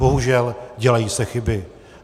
Bohužel dělají se chyby.